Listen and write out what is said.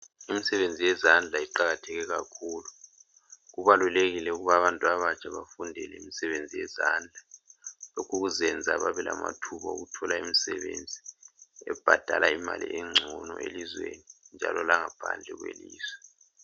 Imisebenzi yezandla iqakatheke kakhulu. Kubalulekile ukuthi abantu abatsha bafundele imisebenzi yezandla lokhu kuzayenza babelamathuba omsebenzi ebhadala imali engcono elizweni njalo langaphandle kwelizwe.